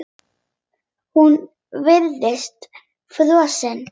Hún virtist frosin.